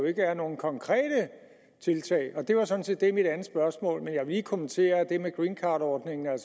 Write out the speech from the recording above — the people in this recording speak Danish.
ikke er nogen konkrete tiltag det var sådan set det mit andet spørgsmål men jeg vil lige kommentere det med greencardordningen jeg